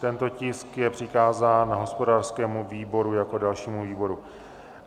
Tento tisk je přikázán hospodářskému výboru jako dalšímu výboru.